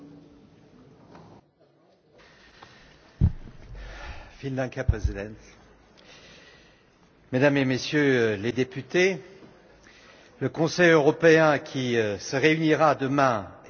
Mesdames et Messieurs les députés, le Conseil européen qui se réunira demain et vendredi sera placé une fois de plus sous le signe de la crise des réfugiés.